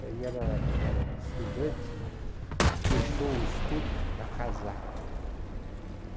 E aí ela era estudante, deixou o estudo para casar.